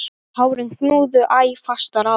Tárin knúðu æ fastar á.